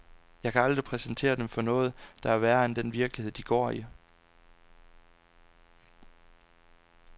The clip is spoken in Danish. Jeg kan aldrig præsentere dem for noget, der er værre end den virkelighed, de går i.